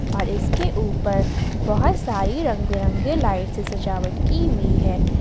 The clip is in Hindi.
और इसके ऊपर बहुत सारी रंग बिरंगे लाइट से सजावट की हुई है।